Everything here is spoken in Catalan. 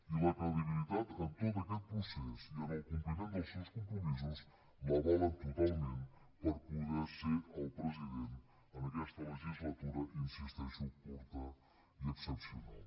i la credibilitat en tot aquest procés i en el compliment dels seus compromisos l’avalen totalment per poder ser el president en aquesta legislatura hi insisteixo curta i excepcional